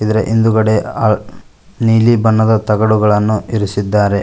ಅದರ ಹಿಂದುಗಡೆ ಆ ನೀಲಿ ಬಣ್ಣದ ತಗಡುಗಳನ್ನು ಇರಿಸಿದ್ದಾರೆ.